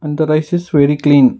and the rice is very clean.